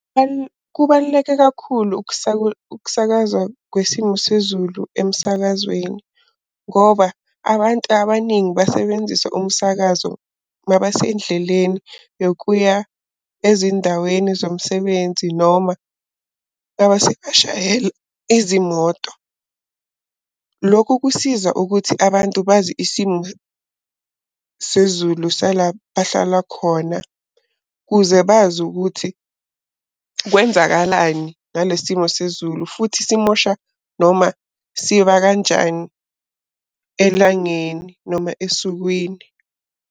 Kubaluleke kakhulu ukusakaza kwesimo sezulu emsakazweni, ngoba abantu abaningi basebenzisa umsakazo uma basendleleni yokuya ezindaweni zomsebenzi noma bashayela izimoto. Lokhu kusiza ukuthi abantu bazi isimo sezulu sala bahlala khona, ukuze bazi ukuthi kwenzakalani ngale simo sezulu, futhi simosha noma siba kanjani elangeni noma esukwini.